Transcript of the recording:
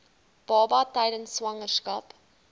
baba tydens swangerskap